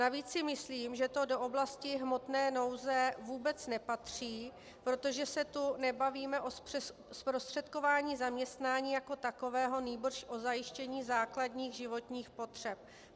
Navíc si myslím, že to do oblasti hmotné nouze vůbec nepatří, protože se tu nebavíme o zprostředkování zaměstnání jako takového, nýbrž o zajištění základních životních potřeb.